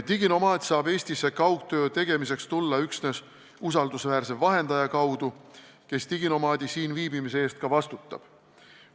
Diginomaad saab Eestisse kaugtööd tegema tulla üksnes usaldusväärse vahendaja kaudu, kes diginomaadi siin viibimise eest vastutab.